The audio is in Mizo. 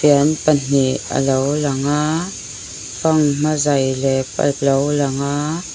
fian pahnih alo lang a fanghma zei lep alo lang a.